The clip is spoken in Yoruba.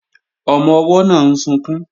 Ọmọ-ọwọ́ náà ń sunkún